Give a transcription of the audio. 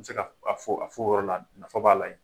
bɛ se ka a fɔ a fɔ o yɔrɔ la nafa b'a la ye.